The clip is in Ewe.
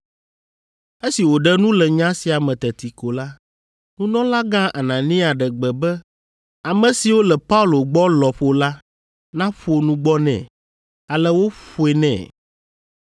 Esi wòɖe nu le nya sia me teti ko la, nunɔlagã Anania ɖe gbe be ame siwo le Paulo gbɔ lɔƒo la naƒo nugbɔ nɛ. Ale woƒoe nɛ.